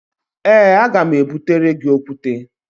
Ee, aga m ebutere gị okwute